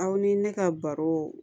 Aw ni ne ka baro